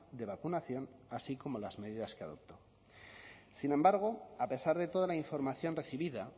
de vacunación así como las medidas que adoptó sin embargo a pesar de toda la información recibida